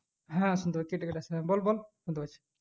হ্যাঁ শুনতে পাচ্ছি বল বল শুনতে পাচ্ছি